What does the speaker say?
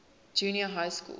junior high schools